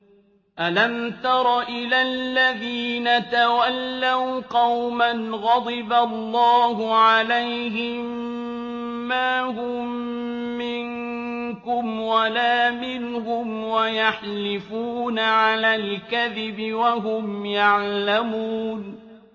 ۞ أَلَمْ تَرَ إِلَى الَّذِينَ تَوَلَّوْا قَوْمًا غَضِبَ اللَّهُ عَلَيْهِم مَّا هُم مِّنكُمْ وَلَا مِنْهُمْ وَيَحْلِفُونَ عَلَى الْكَذِبِ وَهُمْ يَعْلَمُونَ